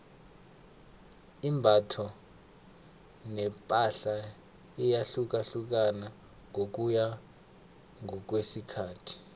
imbatho nepahla iyahlukahlukana ngokuya ngokwesikhathi